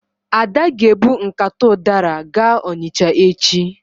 Ada ga-ebu nkata ụdara gaa Ọnịcha echi.